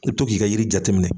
I bɛ to ki ka yiri jateminɛ.